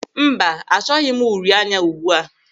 Mba, achọghị m uri anya ugbua a.